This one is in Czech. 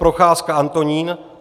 Procházka Antonín